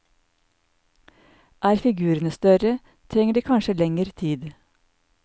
Er figurene større, trenger de kanskje lenger tid.